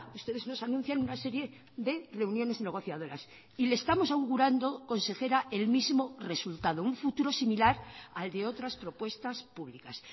ustedes nos anuncian una serie de reuniones negociadoras y le estamos augurando consejera el mismo resultado un futuro similar al de otras propuestas públicas